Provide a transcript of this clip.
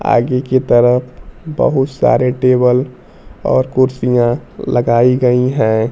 आगे की तरफ बहुत सारे टेबल और कुर्सियां लगाई गई हैं।